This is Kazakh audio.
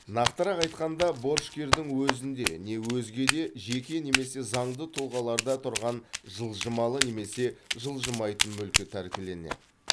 нақтырақ айтқанда борышкердің өзінде не өзге де жеке немесе заңды тұлғаларда тұрған жылжымалы немесе жылжымайтын мүлкі тәркіленеді